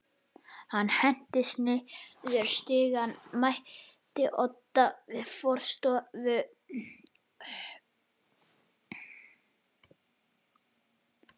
Hann hentist niður stigann, mætti Oddi við forstofu